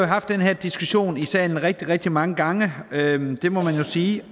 haft den her diskussion i salen rigtig rigtig mange gange det må man jo sige